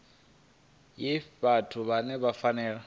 ya vhathu vhane vha fanela